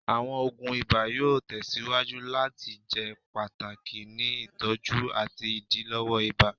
Awọn oogun iba yoo tẹsiwaju lati jẹ pataki ni itọju ati idilọwọ ibà